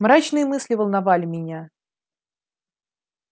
мрачные мысли волновали меня